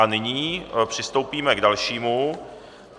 A nyní přistoupíme k dalšímu.